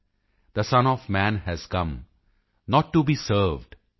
the son of man has come not to be served